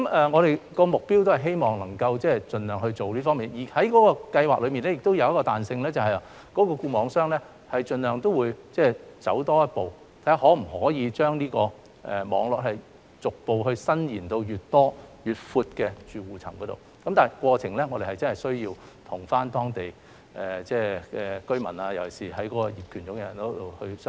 我們的目標是希望能夠盡量做到這方面的工作，而資助計劃亦有一些彈性，即固網商會盡量走多一步，看看是否可以將網絡逐步延伸至越多、越闊的住戶層面，但我們真的需要與當地居民團體——尤其是業權擁有人——商討。